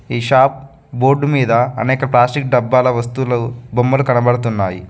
ఈ shop board మీద అనేక ప్లాస్టిక్ డబ్బాల వస్తువులు బొమ్మలు కనబడుతున్నాయి.